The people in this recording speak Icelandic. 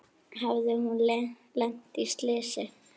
Hafði hún lent í slysi?